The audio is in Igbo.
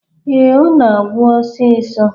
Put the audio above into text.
Ee, Ọ na-agwụ osisọ.